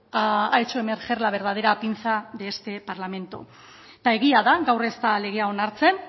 ha hecho emerger la verdadera pinza de este parlamento eta egia da gaur ez da legea onartzen